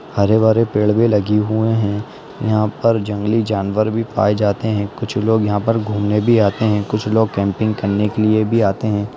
हरे भरे पेड़ भी लगे हुए हैं | यहाँ पर जंगली जानवर भी पाए जाते हैं | कुछ लोग यहाँ पर घूमने भी आते हैं | कुछ लोग कैम्पिंग करने के लिए भी आते हैं।